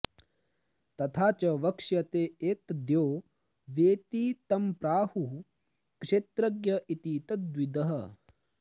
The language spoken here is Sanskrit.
तथा च वक्ष्यते एतद्यो वेत्ति तं प्राहुः क्षेत्रज्ञ इति तद्विदः